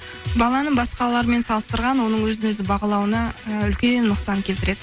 баланы басқалармен салыстырған оның өзін өзі бағалауына ы үлкен нұқсан келтіреді